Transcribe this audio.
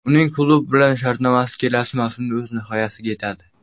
Uning klub bilan shartnomasi kelasi mavsumda o‘z nihoyasiga yetadi.